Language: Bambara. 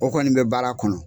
O kɔni bɛ baara kɔnɔ.